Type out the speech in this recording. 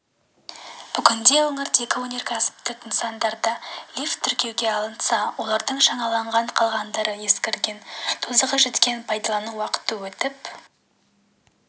бүгінде өңірдегі өнеркәсіптік нысандарда лифт тіркеуге алынса олардың жаңаланған қалғандары ескірген тозығы жеткен пайдалану уақыты өтіп